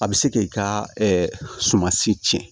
A bɛ se k'i ka sumansi cɛn